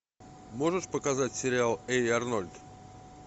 можешь показать сериал эй арнольд